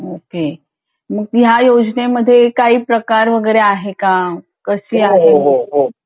okay मग ह्या योजने मध्ये काही प्रकार वैगरे आहे का कशी आहे